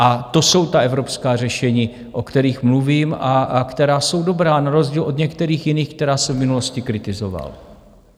A to jsou ta evropská řešení, o kterých mluvím a která jsou dobrá, na rozdíl od některých jiných, která jsem v minulosti kritizoval.